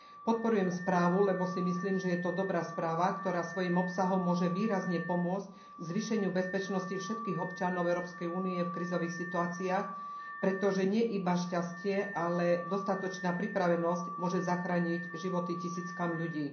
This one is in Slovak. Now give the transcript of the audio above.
Podporujem správu, lebo si myslím, že je to dobrá správa, ktorá svojim obsahom môže výrazne pomôcť k zvýšeniu bezpečnosti všetkých občanov Európskej únie v krízových situáciách, pretože nie iba šťastie, ale dostatočná pripravenosť môže zachrániť životy tisíckam ľudí.